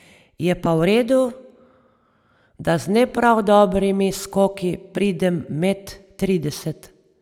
Je pa v redu, da z ne prav dobrimi skoki pridem med trideset.